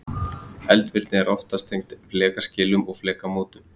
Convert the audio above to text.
eldvirkni er oftast tengd flekaskilum eða flekamótum